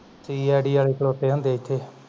cid ਵਾਲੇ ਖਲੋਤੇ ਹੁੰਦੇ ਏਥੇ